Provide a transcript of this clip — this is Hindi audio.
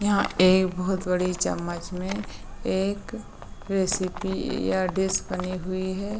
यहाँ एक बहुत बड़ी चम्मच मे एक रेसिपी या डिश बनी हुई है।